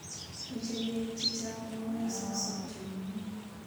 Mechei beek chichang mauwek sikusopio kumnyee.